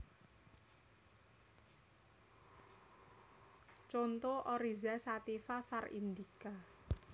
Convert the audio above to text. Conto Oryza sativa var indica